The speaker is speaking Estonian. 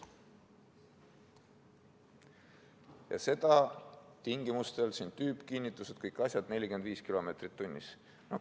Ja seda tingimustel – siin on tüübikinnitused, kõik muud asjad –, et sõidetakse kiirusega kuni 45 km/h.